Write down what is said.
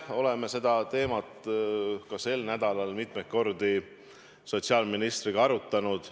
Oleme seda teemat ka sel nädalal mitmeid kordi sotsiaalministriga arutanud.